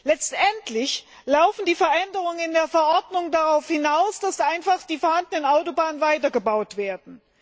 Letztendlich laufen die Veränderungen in der Verordnung darauf hinaus, dass einfach die vorhandenen Autobahnen weitergebaut werden.